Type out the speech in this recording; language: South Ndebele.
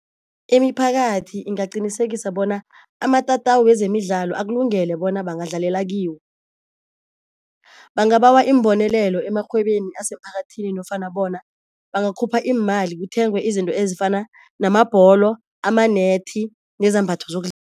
Imiphakathi ingaqinisekisa bona amatatawu wezemidlalo akulungele bona bangadlalela kiwo. Bangabawa iimbonelelo emarhwebeni asemphakathini nofana bona bangakhupha iimali kuthengwe izinto ezifana namabholo, amanethi nezambatho